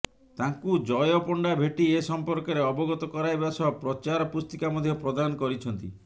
ତାଙ୍କୁ ଜୟ ପଣ୍ଡା ଭେଟି ଏ ସଂପର୍କରେ ଅବଗତ କରାଇବା ସହ ପ୍ରଚାର ପୁସ୍ତିକା ମଧ୍ୟ ପ୍ରଦାନ କରିଛନ୍ତି